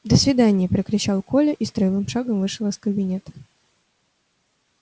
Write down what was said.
до свидания прокричал коля и строевым шагом вышел из кабинета